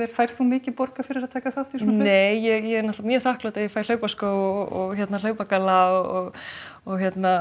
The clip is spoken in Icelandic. færð þú mikið borgað fyrir að taka þátt í svona nei ég er mjög þakklát ef ég fæ hlaupaskó og hlaupagalla og